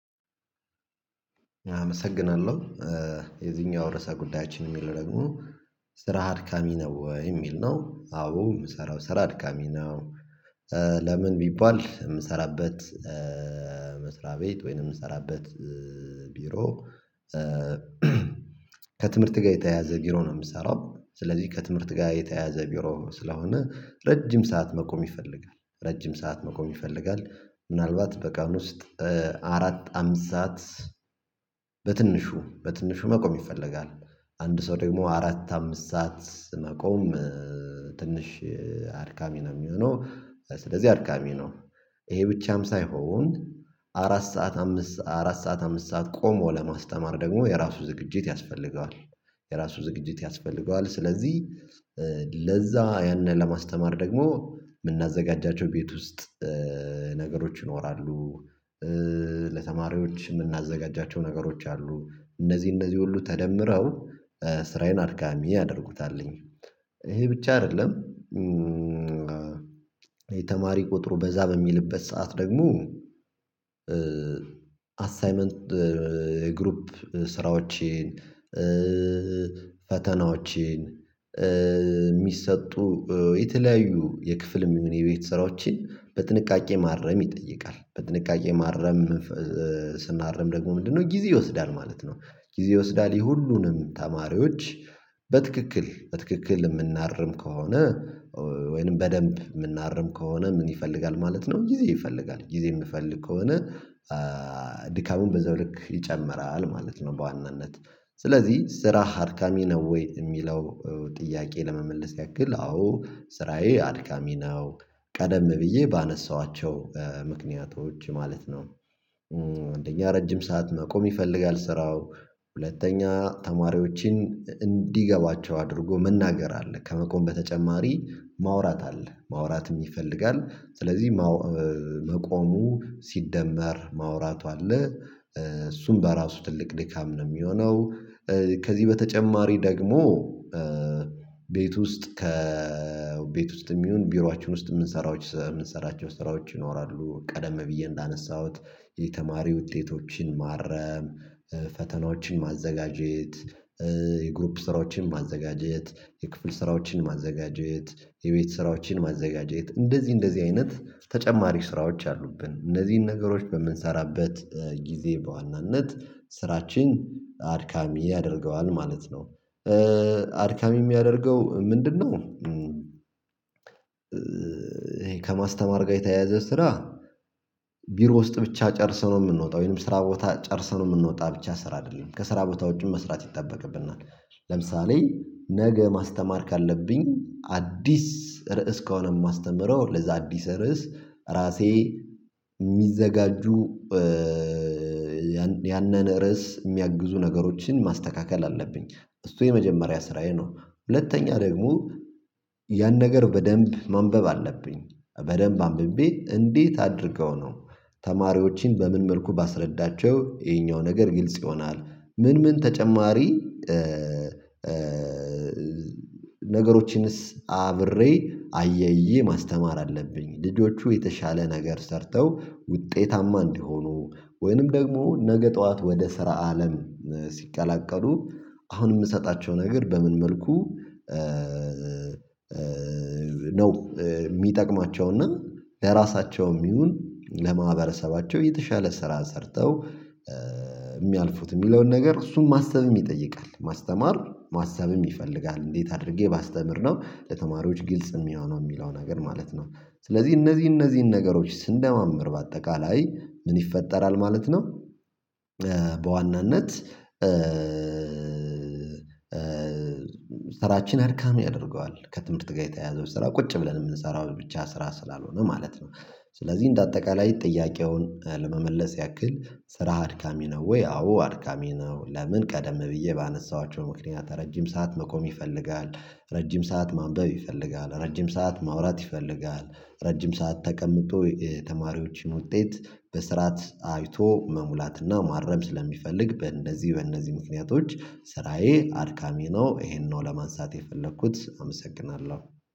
አመሰግናለሁ የዚህኛው ርዕሰ ጉዳያችን የሚለው ደግሞ ስራ አድካሚ ነው ወይ የሚል ነው? አዎ የምሰራው ስራ አድካሚ ነው። ለምን ቢባል የምሰራበት መስሪያ ቤት ወይንም የምሰራበት ቢሮ። ከትምህርት ጋር የተያያዘ ቢሮ ነው የምሰራው ስለዚህ ከትምህርት ጋር የተያያዘ ቢሮ ስለሆነ ረጅም ሰዓት መቆም ይፈልጋል። ረጅም ሰዓት መቆም ይፈልጋል ምናልባት በቀን ውስጥ አራት አምስት ሰዓት በትንሹ በትንሹ መቆም ይፈለጋል። አንድ ሰው ደግሞ አራት አምስት ሰዓት መቆም ትንሽ አድካሚ ነው የሚሆነው ስለዚህ አድካሚ ነው። ይሄ ብቻም ሳይሆን አራት ሰዓት አምስት አራት ሰዓት አምስት ሰዓት ቆሞ ለማስተማር ደግሞ የራሱ ዝግጅት ያስፈልገዋል። የራሱ ዝግጅት ያስፈልገዋል ስለዚህ ለዛ ያንን ለማስተማር ደግሞ የምናዘጋጃቸው ቤት ውስጥ ነገሮች ይኖራሉ። ለተማሪዎች የምናዘጋጃቸው ነገሮች አሉ እነዚህ እነዚህ ሁሉ ተደምረው ስራዬን አድካሚ ያደርጉታልኝ ይሄ ብቻ አይደለም። የተማሪ ቁጥሩ በዛ በሚልበት ሰዓት ደግሞ አሳይመንት የግሩፕ ስራዎችን ፈተናዎችን የሚሰጡ የተለያዩ የክፍልም ሆነ የቤት ሰራዎችን በጥንቃቄ ማረም ይጠይቃል። በጥንቃቄ ማረም ስናርም ደግሞ ምንድነው ጊዜ ይወስዳል ማለት ነው። ጊዜ ይወስዳል የሁሉንም ተማሪዎች በትክክል በትክክል የምናርም ከሆነ ወይንም በደንብ የምናርም ከሆነ ምን ይፈልጋል ማለት ነው ጊዜ ይፈልጋል ጊዜ የምፈልግ ከሆነ ድካሙም በዛው ልክ ይጨምራል ማለት ነው። በዋናነት ስለዚህ ስራ አድካሚ ነው ወይ የሚለው ጥያቄ ለመመለስ ያክል አዎ ስራዬ አድካሚ ነው። ቀደም ብዬ ባነሳኋቸው ምክንያቶች ማለት ነው። አንደኛ ረጅም ሰዓት መቆም ይፈልጋል። ስራው ሁለተኛ ተማሪዎችን እንዲገባቸው አድርጎ መናገር አለ ከመቆም በተጨማሪ ማውራት አለ ማውራትም ይፈልጋል ስለዚህ መቆሙ ሲደመር ማውራቱ አለ እሱም በራሱ ትልቅ ድካም ነው የሚሆነው። ከዚህ በተጨማሪ ደግሞ ቤት ውስጥ ከ ቤት ውስጥም ይሁን ቢሯችን ውስጥ የምንሰራቸው ስራዎች ይኖራሉ። ቀደም ብዬ እንዳነሳሁት የተማሪ ውጤቶችን ማረም ፈተናዎችን ማዘጋጀት የግሩፕ ስራዎችን ማዘጋጀት የክፍል ስራዎችን ማዘጋጀት የቤት ስራዎችን ማዘጋጀት እንደዚህ እንደዚህ አይነት ተጨማሪ ስራዎች አሉብን እነዚህን ነገሮች በምንሰራበት ጊዜ በዋናነት ስራችን አድካሚ ያደርገዋል ማለት ነው። አድካሚ የሚያደርገው ምንድነው? ከማስተማር ጋር የተያያዘ ስራ ቢሮ ውስጥ ብቻ ጨርሰነው የምንወጣው ወይም ስራ ቦታ ጨርሰን የምንወጣው ብቻ ስራ አይደለም ከስራ ቦታ ውጪ መስራት ይጠበቅብናል። ለምሳሌ ነገ ማስተማር ካለብኝ አዲስ ርዕስ ከሆነ የማስተምረው ለዛ አዲስ ርዕስ ራሴ የሚዘጋጁ ያንን ርዕስ የሚያግዙ ነገሮችን ማስተካከል አለብኝ። እሱ የመጀመሪያ ስራዬ ነው። ሁለተኛ ደግሞ ያን ነገር በደንብ ማንበብ አለብኝ በደንብ አንብቤ እንዴት አድርገው ነው? ተማሪዎችን በምን መልኩ ባስረዳቸው ይሄኛው ነገር ግልጽ ይሆናል። ምን ምን ተጨማሪ? ነገሮችንስ አብሬ አያይዤ ማስተማር አለብኝ ልጆቹ የተሻለ ነገር ሰርተው ውጤታማ እንዲሆኑ ወይንም ደግሞ ነገ ጠዋት ወደ ስራ አለም ሲቀላቀሉ አሁን የምሰጣቸው ነገር በምን መልኩ ነው የሚጠቅማቸው እና ለራሳቸውም ይሁን ለማህበረሰባቸው የተሻለ ስራ ሰርተው የሚያልፉት የሚለውን ነገር እሱን ማሰብም ይጠይቃል ማስተማር ማሰብም ይፈልጋል እንዴት አድርጌ ባስተምር ነው ለተማሪዎች ግልጽ የሚሆነው የሚለው ነገር ማለት ነው። ስለዚህ እነዚህ እነዚህን ነገሮች ስንደማምር በአጠቃላይ ምን ይፈጠራል ማለት ነው። በዋናነት ስራችን አድካሚ ያደርገዋል ከትምህርት ጋር የተያዘው ስራ ቁጭ ብለን የምንሰራው ብቻ ስራ ስላልሆነ ማለት ነው። ስለዚህ እንደ አጠቃላይ ጥያቄውን ለመመለስ ያክል ስራ አድካሚ ነው ወይ አዎ አድካሚ ነው። ለምን ቀደም ብዬ ባነሳኋቸው ምክንያት ረጅም ሰዓት መቆም ይፈልጋል። ረጅም ሰዓት ማንበብ ይፈልጋል ረጅም ሰዓት ማውራት ይፈልጋል ረጅም ሰዓት ተቀምጦ የተማሪዎችን ውጤት በስርዓት አይቶ መሙላትና ማረም ስለሚፈልግ በእነዚህ በእነዚህ ምክንያቶች ስራዬ አድካሚ ነው። ይሄንን ነው ለማንሳት የፈለኩት አመሰግናለሁ